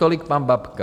Tolik pan Babka.